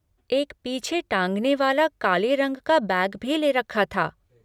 एक पीछे टाँगने वाला काले रंग का बैग भी ले रखा था।